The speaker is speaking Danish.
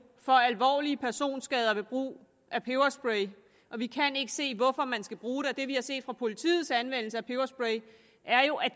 for alvorlige personskader ved brug af peberspray og vi kan ikke se hvorfor man skal bruge den det vi har set fra politiets anvendelse af peberspray er jo at